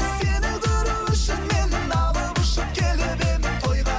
сені көру үшін мен алып ұшып келіп едім тойға